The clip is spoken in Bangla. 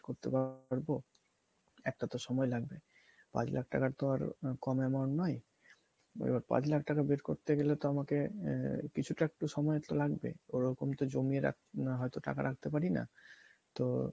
করতে পারবো , একটা তো সময় লাগবে পাঁচ লাখ টাকা তো আর কম amount নয় এবার পাঁচ লাখ টাকা বের করতে গেলে তো আমাকে আহ কিছুটা তো সময় একটু লাগবে ওরকম তো জমিয়ে রাখ হয়তো টাকা রাখতে পারি না তো